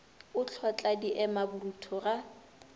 o hlotla diema borutho ga